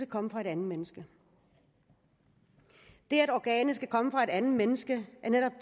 komme fra et andet menneske det at organet skal komme fra et andet menneske er netop